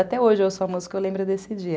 Até hoje eu ouço a música, eu lembro desse dia.